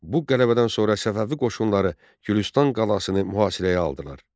Bu qələbədən sonra Səfəvi qoşunları Gülüstan qalasını mühasirəyə aldılar.